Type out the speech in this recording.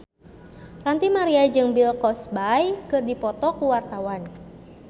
Ranty Maria jeung Bill Cosby keur dipoto ku wartawan